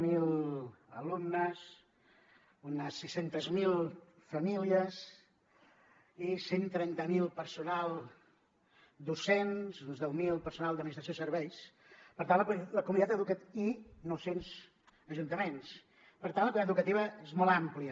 zero alumnes unes sis cents miler famílies i cent i trenta miler personal docents uns deu mil personal d’administració i serveis i nou cents ajuntaments per tant la comunitat educativa és molt àmplia